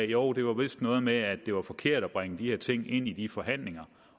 jo det var vist noget med at det var forkert at bringe de her ting ind i forhandlingerne